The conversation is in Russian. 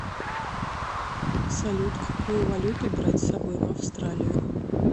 салют какую валюту брать с собой в австралию